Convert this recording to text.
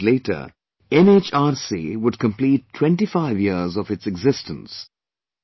A few days later NHRC would complete 25 years of its existence